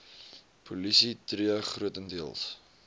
polisie tree grotendeels